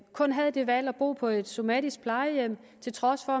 kun havde det valg at bo på et somatisk plejehjem til trods for